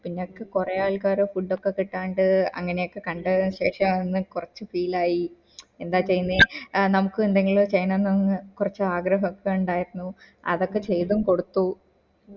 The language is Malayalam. ഇങ്ങക്ക് കൊറേ ആൾക്കാര് food ഒക്കെ കിട്ടാണ്ട് അങ്ങനൊക്കെ കണ്ടതിനു ശേഷം കൊറച്ച് feel ആയി എന്താ ചെയ്യന്നെ ആഹ് നമകു എന്തെങ്കിലും ചെയ്യണം ന്ന് കൊറച്ച് ആഗ്രഹം ഒക്ക ഇണ്ടായിരുന്നു അതൊക്കെ ചെയ്തും കൊടുത്തു